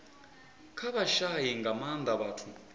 kha vhashai nga maanda vhathu